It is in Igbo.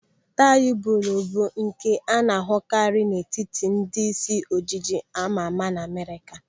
Tai bolo bụ nke a na-ahụkari n'etiti ndị isi ojiji amama n'Amerịka.